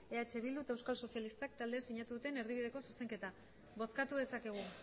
eh bildu eta euskal sozialistak taldeak sinatu duten erdibideko zuzenketa bozkatu dezakegu